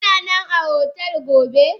Kananan a hotel gobe?